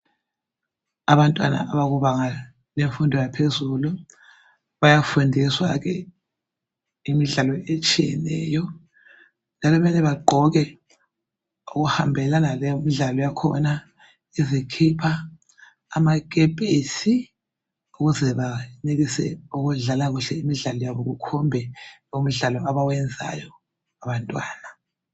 Abantwana abakubanga yemfundo yaphezulu bayafundiswa ke imidlalo etshiyeneyo njalo mele bagqoke okuhambelana lemidlalo yakhona, izikhipha, amakepesi ukuze benelise ukudlala imidlalo yabo kukhombe imdlalo abayenzayo abantwana